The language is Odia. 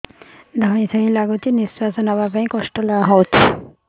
ଧଇଁ ସଇଁ ଲାଗୁଛି ନିଃଶ୍ୱାସ ନବା କଷ୍ଟ ହଉଚି